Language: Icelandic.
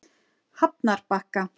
Hafnarbakka